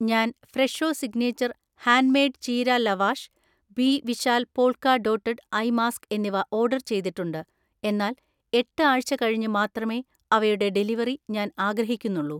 ഞാൻ Fresho signature hand made ചീര lavash, B Vishal polka dotted eye mask എന്നിവ order ചെയ്തിട്ടുണ്ട്, എന്നാൽ എട്ട് ആഴ്ച കഴിഞ്ഞ് മാത്രമേ അവയുടെ ഡെലിവറി ഞാൻ ആഗ്രഹിക്കുന്നുള്ളൂ.